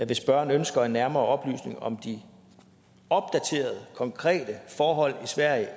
hvis spørgeren ønsker nærmere oplysninger om de opdaterede konkrete forhold i sverige